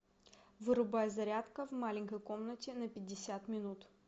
вырубай зарядка в маленькой комнате на пятьдесят минут